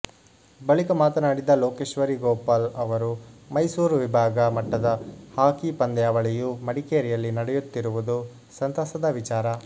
ಬಳಿಕ ಮಾತನಾಡಿದ ಲೋಕೇಶ್ವರಿ ಗೋಪಾಲ್ ಅವರು ಮೈಸೂರು ವಿಭಾಗ ಮಟ್ಟದ ಹಾಕಿ ಪಂದ್ಯಾವಳಿಯು ಮಡಿಕೇರಿಯಲ್ಲಿ ನಡೆಯುತ್ತಿರುವುದು ಸಂತಸದ ವಿಚಾರ